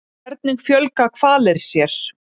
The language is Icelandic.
hvernig fjölga hvalir sér